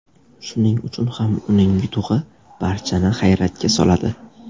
Shuning uchun ham uning yutug‘i barchani hayratga soladi.